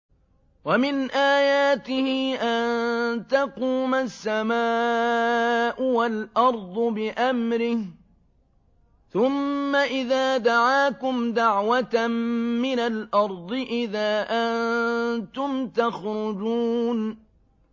وَمِنْ آيَاتِهِ أَن تَقُومَ السَّمَاءُ وَالْأَرْضُ بِأَمْرِهِ ۚ ثُمَّ إِذَا دَعَاكُمْ دَعْوَةً مِّنَ الْأَرْضِ إِذَا أَنتُمْ تَخْرُجُونَ